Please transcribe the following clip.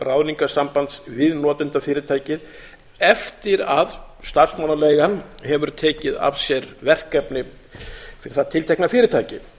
ráðningarsambands við notendafyrirtækið eftir að starfsmannaleigan hefur tekið að sér verkefni fyrir það tiltekna fyrirtæki